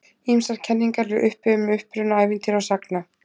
ýmsar kenningar eru uppi um uppruna ævintýra og sagna